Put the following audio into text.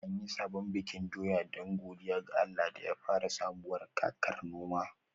An yi sabon bikin doya don godiya ga Allah da ya fara sabuwar kakar noma